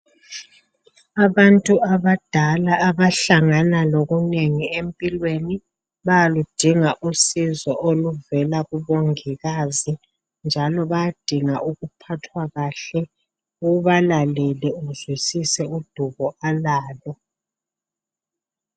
Abantu abadala abahlangana lokunengi empilweni bayaludinga usizo oluvela kumongikazi njalo bayadinga ukuphathwa kahle, ubalalele uzwisise udubo alalo.